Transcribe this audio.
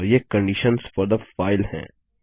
और ये conditions four थे फाइल हैं